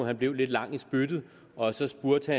han blev lidt lang i spyttet og så spurgte